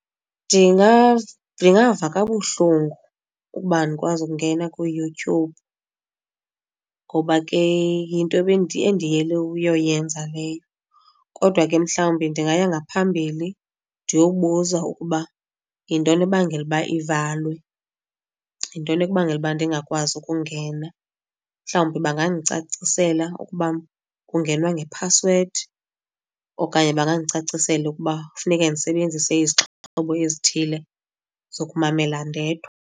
Ndingava kabuhlungu ukuba andikwazi ukungena kuYouTube ngoba ke yinto endiyele uyoyenza leyo. Kodwa ke mhlawumbi ndingaya ngaphambili ndiyobuza ukuba yintoni ebangela uba ivalwe, yintoni ebangela uba ndingakwazi ukungena. Mhlawumbi bangandicacisela ukuba kungenwa ngephasiwedi okanye bangandicacisela ukuba kufuneke ndisebenzise izixhobo ezithile zokumamela ndedwa.